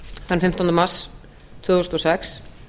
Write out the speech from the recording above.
þann fimmtánda mars tvö þúsund og sex